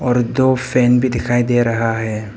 और दो फैन भी दिखाई दे रहा है।